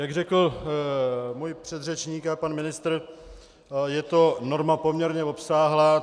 Jak řekl můj předřečník a pan ministr, je to norma poměrně obsáhlá.